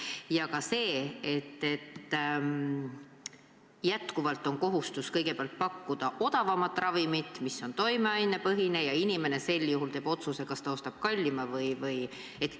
Samuti see, et jätkuvalt on kohustus kõigepealt pakkuda odavamat ravimit, mis on toimeainepõhine, ja inimene teeb sel juhul otsuse, kas ta ostab kallima või mitte.